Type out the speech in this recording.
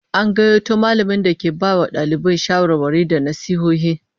An gayyato mallamin da ke bai wa dalibai shawarwari da nasihohi